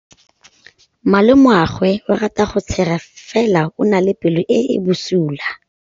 Malomagwe o rata go tshega fela o na le pelo e e bosula.